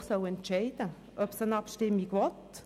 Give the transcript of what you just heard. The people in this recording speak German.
Das Volk soll entscheiden, ob es eine Abstimmung will.